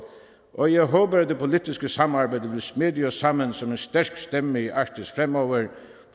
og jeg håber at det politiske samarbejde vil smede os sammen som en stærk stemme i arktis fremover